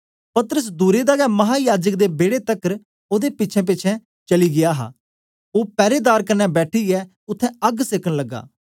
पतरस दूरे दा गै महायाजक दे बेड़े तकर ओदे पिछेंपिछें चली गीया हा ओ पैरेदार कन्ने बैठीयै उत्थें अग्ग सेकन लगा